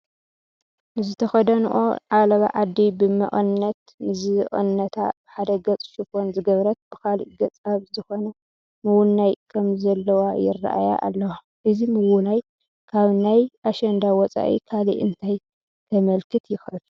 ንዝተኸደንኦ ዓለባ ዓዲ ብመቐነት ዝቐነታ ብሓደ ገፅ ሽፎን ዝገበረት ብኻልእ ገፅ ኣብ ዝኾነ ምውናይ ከምዘለዋ ይርአያ ኣለዋ፡፡ እዚ ምውናይ ካብ ናይ ኣሸንዳ ወፃኢ ካልእ እንታይ ከምልክት ይኽእል?